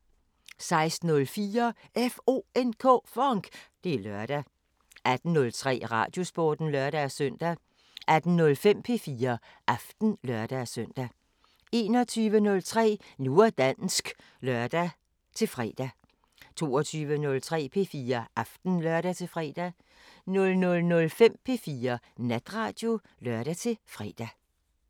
16:04: FONK! Det er lørdag 18:03: Radiosporten (lør-søn) 18:05: P4 Aften (lør-søn) 21:03: Nu og dansk (lør-fre) 22:03: P4 Aften (lør-fre) 00:05: P4 Natradio (lør-fre)